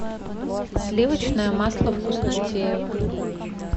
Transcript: сливочное масло вкуснотеево